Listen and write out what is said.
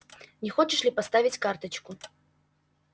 не хочешь ли поставить карточку